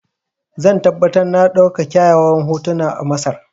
Zan tabbatar na ɗauka kyawawan hotuna a Masar.